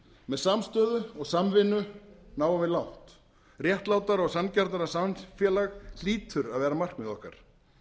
með samstöðu og samvinnu náum við langt réttlátara og sanngjarnara samfélag hlýtur að vera markmið okkar